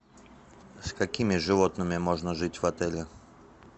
с какими животными можно жить в отеле